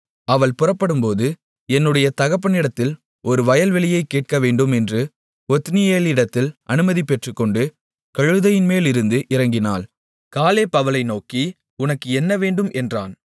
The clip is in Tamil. அவள் புறப்படும்போது என்னுடைய தகப்பனிடத்தில் ஒரு வயல்வெளியைக் கேட்கவேண்டும் என்று ஒத்னியேலினிடத்தில் அனுமதி பெற்றுக்கொண்டு கழுதையின்மேலிருந்து இறங்கினாள் காலேப் அவளை நோக்கி உனக்கு என்னவேண்டும் என்றான்